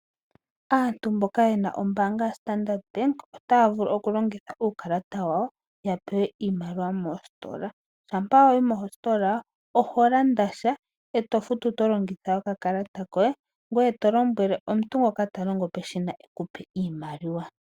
Aanyu mboka yena ombaanga ya Standard bank otaa vulu oku longitha uukalata wawo yapewe iimaliwa moositola. Shampa wayi moshitola oho landa sha eto futu tolongitha okakalata koye ngoye tolombwele omuntu ngoka talongo peshina ekupe oshimaliwa.